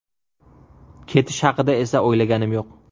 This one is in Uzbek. Ketish haqida esa o‘ylaganim yo‘q.